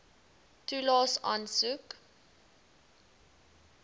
toelaes aansoek